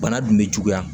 Bana dun bɛ juguya